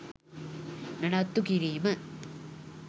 නඩත්තු කිරීම